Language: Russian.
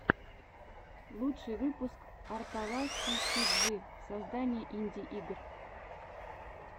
лучший выпуск арталаский сиджи создание инди игр